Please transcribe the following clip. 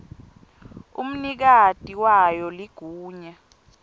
umnikati wayo ligunya